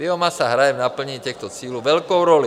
Biomasa hraje v naplnění těchto cílů velkou roli.